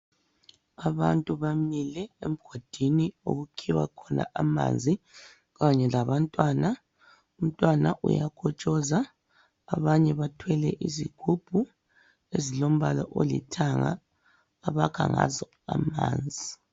Abantu bamile emgodini okukhiwa khona amanzi kanye labantwana. Umntwana uyakotshoza abanye bathwele izigubhu ezilombala olithanga abakha ngazo amanzi.